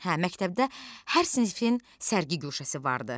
Hə, məktəbdə hər sinifin sərgi guşəsi vardı.